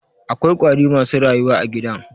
Akwa ƙwari masu rayuwa a gidan.